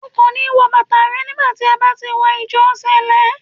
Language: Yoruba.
O kò ní wọ bàtà rẹ nígbà tí a bá ti wọ Ìjọ Sẹ̀lẹ́.